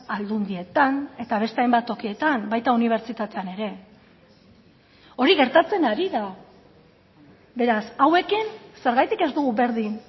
aldundietan eta beste hainbat tokietan baita unibertsitatean ere hori gertatzen ari da beraz hauekin zergatik ez dugu berdin